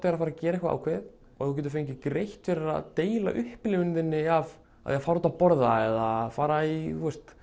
er að fara að gera eitthvað ákveðið að þú getir fengið greitt fyrir að deila upplifun þinni af því fara út að borða eða fara í